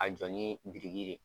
A jɔ ni biriki ye.